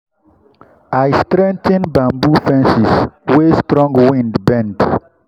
i straigh ten bamboo fences wey strong wind bend.